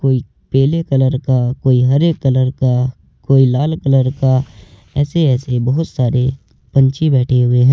कोई पीले कलर का कोई हरे कलर का कोई लाल कलर का ऐसे ऐसे बहुत सारे पंछी बैठे हुए हैं।